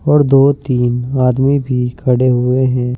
और दो तीन आदमी भी खड़े हुए हैं।